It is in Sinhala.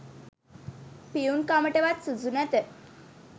පියුන් කමටවත් සුදුසු නැත